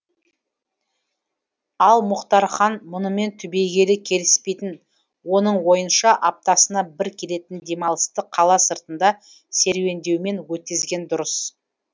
ал мұхтархан мұнымен түбегейлі келіспейтін оның ойынша аптасына бір келетін демалысты қала сыртында серуендеумен өткізген дұрыс